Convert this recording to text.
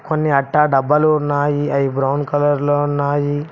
కొన్ని అట్టా డబ్బాలు ఉన్నాయి అవి బ్రౌన్ కలర్ లో ఉన్నాయి.